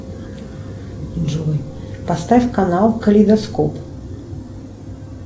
джой поставь канал калейдоскоп